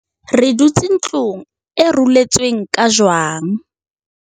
Re dutse ntlong e ruletsweng ka jwang.